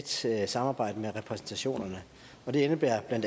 tæt samarbejde med repræsentationerne det indebærer bla